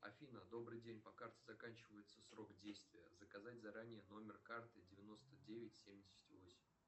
афина добрый день по карте заканчивается срок действия заказать заранее номер карты девяносто девять семьдесят восемь